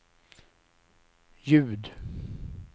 ljud